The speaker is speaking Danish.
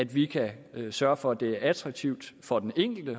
vi kan sørge for at det er attraktivt for den enkelte